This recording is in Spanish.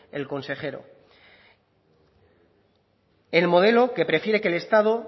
el consejero el modelo que prefiere que el estado